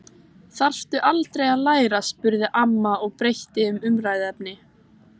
Þarftu aldrei að læra? spurði amma og breytti um umræðuefni.